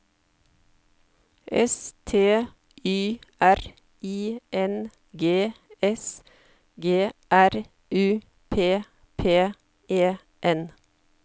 S T Y R I N G S G R U P P E N